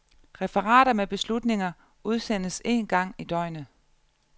Referater med beslutninger udsendes en gang i døgnet.